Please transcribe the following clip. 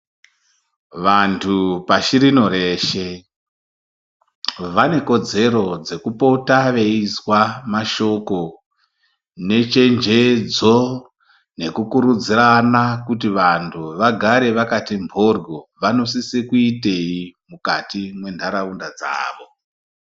Vantu pasirino reshe vane kodzero dzekupota veizwa mashoko ngechenjedzo nekukurudzirana kuti vantu vagare vakati mhoryo vanosisa kuitei mukati mwendaraunda dzawo.